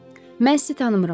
“Mən sizi tanımıram.